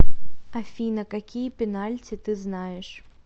афина какие пенальти ты знаешь